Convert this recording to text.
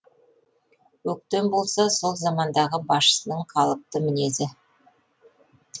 өктем болса сол замандағы басшысының қалыпты мінезі